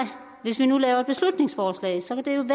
hvis vi nu laver et beslutningsforslag så kan